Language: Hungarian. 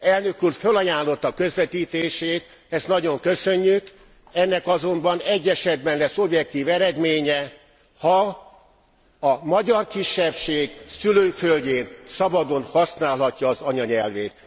Elnök úr fölajánlotta közvetítését, ezt nagyon köszönjük, ennek azonban egy esetben lesz objektív eredménye, ha a magyar kisebbség szülőföldjén szabadon használhatja az anyanyelvét.